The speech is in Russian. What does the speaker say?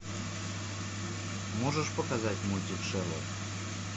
можешь показать мультик шерлок